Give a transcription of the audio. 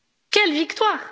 quelle victoire!